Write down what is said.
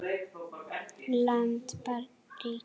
land barn ríki